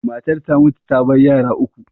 Matar ta mutu ta bar yara uku.